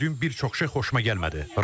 Dünən gördüyüm bir çox şey xoşuma gəlmədi.